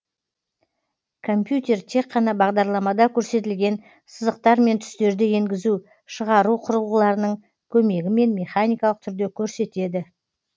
компьютер тек қана бағдарламада көрсетілген сызықтар мен түстерді енгізу шығару құрылғыларының көмегімен механикалық түрде көрсетеді